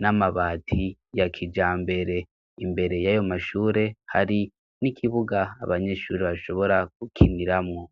n'amabati ya kijambere. Imbere y'ayo mashure hari n'ikibuga abanyeshuri bashobora gukiniramwo.